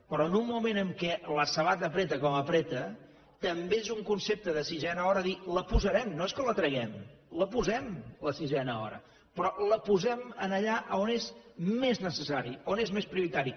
però en un moment en què la sabata estreny com estreny també és un concepte de sisena hora dir la posarem no és que la traguem la posem la sisena hora però la posem allà on és més necessari on és més prioritari